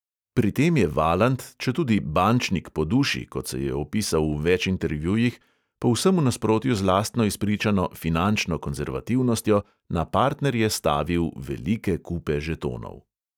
Pri tem je valant, četudi "bančnik po duši", kot se je opisal v več intervjujih, povsem v nasprotju z lastno izpričano "finančno konzervativnostjo" na partnerje stavil velike kupe žetonov.